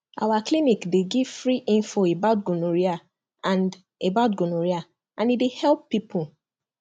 our clinic dey give correct free info about gonorrhea and about gonorrhea and e dey help people